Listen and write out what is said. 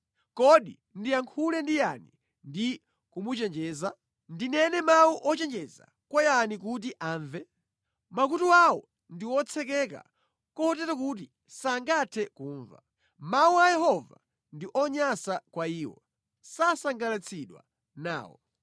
Kodi ndiyankhule ndi yani ndi kumuchenjeza? Ndinene mawu ochenjeza kwa yani kuti amve? Makutu awo ndi otsekeka kotero kuti sangathe kumva. Mawu a Yehova ndi onyansa kwa iwo; sasangalatsidwa nawo.